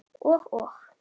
Og, og.